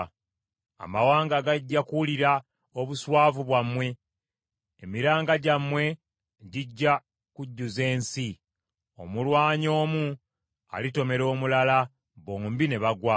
Amawanga gajja kuwulira obuswavu bwammwe; emiranga gyammwe gijja kujjuza ensi. Omulwanyi omu alitomera omulala bombi ne bagwa.”